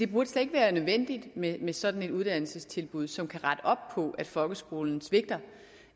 burde være nødvendigt med med sådan et uddannelsestilbud som kan rette op på at folkeskolen svigter